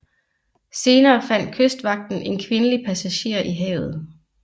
Senere fandt kystvagten en kvindelig passager i havet